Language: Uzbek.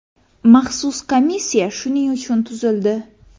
Maxsus komissiya shuning uchun tuzildi.